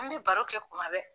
An bɛ baaro kɛ kuman bɛɛ.